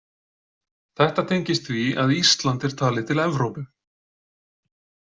Þetta tengist því að Ísland er talið til Evrópu.